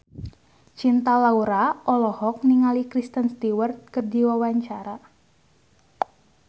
Cinta Laura olohok ningali Kristen Stewart keur diwawancara